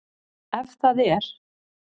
Ef það er?